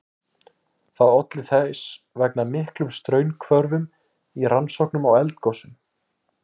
Það olli þess vegna miklum straumhvörfum í rannsóknum á eldgosum.